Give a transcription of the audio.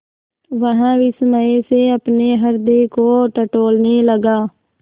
वह विस्मय से अपने हृदय को टटोलने लगा